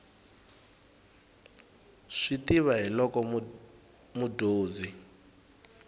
swi tiva hi loko mudyonzi